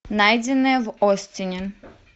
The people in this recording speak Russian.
найденное в остине